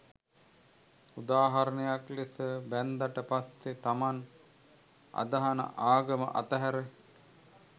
උදාහරණයක් ලෙස බැන්දට පස්සේ තමන් අදහන ආගම අතහැර